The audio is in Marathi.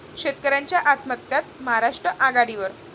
शेतकऱयांच्या आत्महत्यांत महाराष्ट्र आघाडीवर